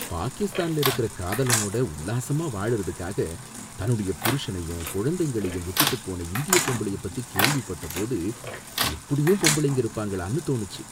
பாகிஸ்தான்ல இருக்கிற காதலனோட உல்லாசமா வாழறதுக்காக தன்னுடைய புருஷனையும் குழந்தைங்களையும் விட்டுட்டு போன இந்திய பொம்பளைய பத்தி கேள்விபட்ட போது, இப்படியும் பொம்பளைங்க இருப்பாங்களானு தோணுச்சு.